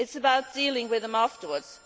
it is about dealing with them afterwards.